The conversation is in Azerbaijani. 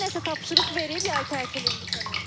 Müəllimə nəsə tapşırıq verib yay tətilində sənə?